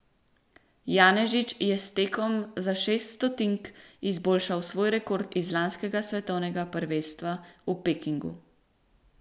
Janežič je s tem tekom za šest stotink izboljšal svoj rekord z lanskega svetovnega prvenstva v Pekingu.